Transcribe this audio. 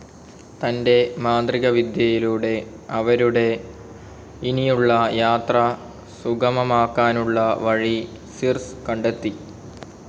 തൻ്റെ മാന്ത്രികവിദ്യയിലൂടെ അവരുടെ ഇനിയുള്ള യാത്ര സുഗമമാക്കാനുള്ള വഴി സിർസ്‌ കണ്ടെത്തി.